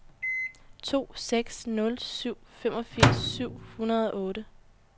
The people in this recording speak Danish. to seks nul syv femogfirs syv hundrede og otte